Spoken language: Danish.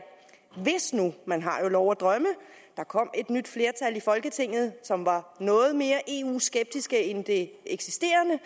hvis nu man har jo lov at drømme der kom et nyt flertal i folketinget som var noget mere eu skeptisk end det eksisterende